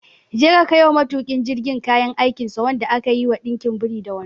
Je ka kaiwa matuƙin jirgin kayan aikinsa wanda aka yi wa ɗinkin biri da wando!